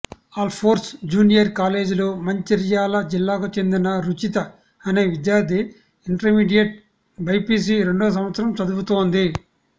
Alphores junior కాలేజీలో మంచిర్యాల జిల్లాకు చెందిన రుచిత అనే విద్యార్థి ఇంటర్మీడియట్ బైపీసీ రెండో సంవత్సరం చదువుతోంది